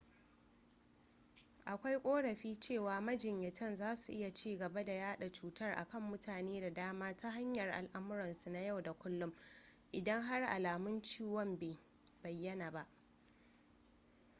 akwai korafi cewa majinyatan zasu iya cigaba da yada cutar a kan mutane da dama ta hanyar alamuransu na yau da kullum idan har alamun ciwon bai bayana ba